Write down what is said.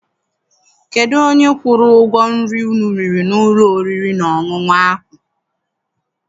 Kedụ onye kwụrụ ụgwọ nri unu riri n'ụlọ oriri na ọṅụṅụ ahụ?